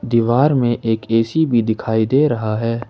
दीवार में एक ए_सी भी दिखाई दे रहा है।